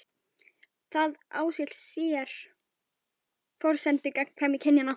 Það á sér forsendu í gagnkvæmni kynjanna.